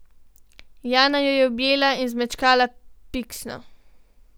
Jana jo je objela in zmečkala piksno.